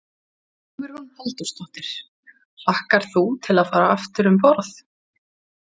Hugrún Halldórsdóttir: Hlakkar þú til að fara aftur um borð?